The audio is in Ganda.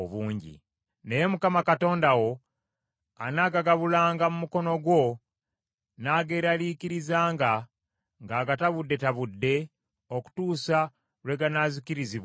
Naye Mukama Katonda wo anaagagabulanga mu mukono gwo n’ageeraliikirizanga ng’agatabuddetabudde, okutuusa lwe ganaazikirizibwanga.